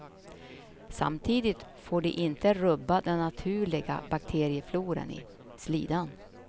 Samtidigt får det inte rubba den naturliga bakteriefloran i slidan.